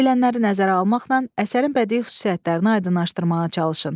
Deyilənləri nəzərə almaqla əsərin bədii xüsusiyyətlərini aydınlaşdırmağa çalışın.